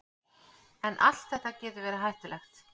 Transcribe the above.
En allt þetta getur verið hættulegt.